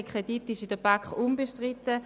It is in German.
Der Kredit war in der BaK unbestritten.